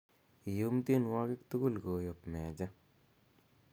iyum tienwogikyuk tugul koyob mejja